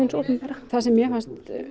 opinbera það sem mér fannst